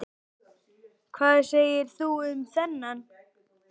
Hvað segir þú um þennan?